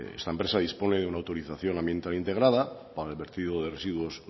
esta empresa dispone de una autorización ambiental integrada para el vertido de residuos